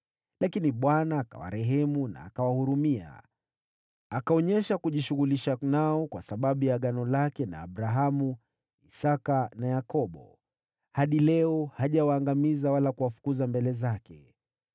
Lakini Bwana akawarehemu na akawahurumia, akaonyesha kujishughulisha nao kwa sababu ya Agano lake na Abrahamu, Isaki na Yakobo. Hadi leo, hajawaangamiza wala kuwafukuza mbele zake.